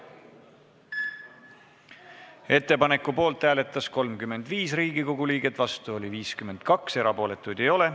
Hääletustulemused Ettepaneku poolt hääletas 35 Riigikogu liiget, vastu oli 52, erapooletuid ei ole.